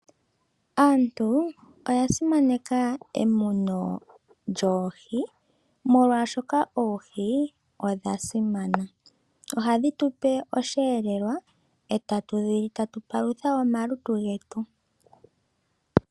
Aantu oya simaneka emuno lyoohi molwashoka oohi odha simana. Ohadhi tupe oshiyelelwa ohatu dhili, etatu paluthe omalutu getu.